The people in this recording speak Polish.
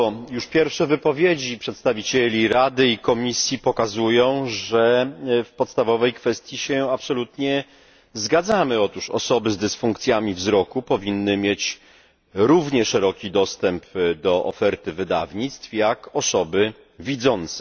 Już pierwsze wypowiedzi przedstawicieli Rady i Komisji pokazują, że w podstawowej kwestii całkowicie się zgadzamy osoby z dysfunkcjami wzroku powinny mieć równie szeroki dostęp do oferty wydawnictw jak osoby widzące.